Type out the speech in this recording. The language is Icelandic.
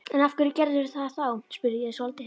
En af hverju gerðirðu það þá? spurði ég svolítið hissa.